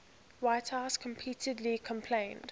whitehouse repeatedly complained